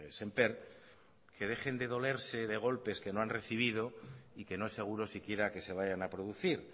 señor sémper que dejen de dolerse de golpes que no han recibido y que no es seguro si quiera que se vayan a